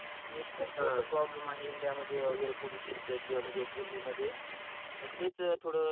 एक खूप मोठं प्रॉब्लेम आहे इंडिया मध्ये एयर पॉल्युशन च म्हणजे दिल्ली मध्ये त तेच थोळ